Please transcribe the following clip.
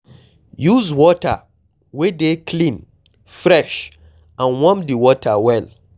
Use water wey dey clean fresh and warm di water well